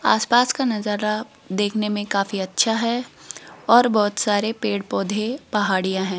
आसपास का नजारा देखने में काफी अच्छा है और बहोत सारे पेड़ पौधे पहाड़ियाँ हैं।